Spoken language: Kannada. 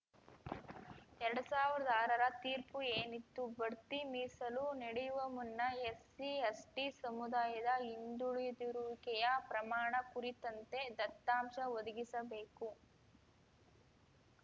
ಎರಡ್ ಸಾವ್ರ್ದ ಆರರ ತೀರ್ಪು ಏನಿತ್ತು ಬಡ್ತಿ ಮೀಸಲು ನೆಡಿಯುವ ಮುನ್ನ ಎಸ್ಸಿ ಎಸ್ಟಿಸಮುದಾಯದ ಹಿಂದುಳಿದಿರುವಿಕೆಯ ಪ್ರಮಾಣ ಕುರಿತಂತೆ ದತ್ತಾಂಶ ಒದಗಿಸಬೇಕು